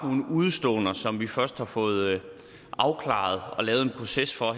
nogle udeståender som vi først har fået afklaret og lavet en proces for